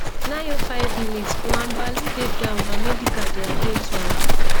905mins nwabali dey down and medical dey at ten d to am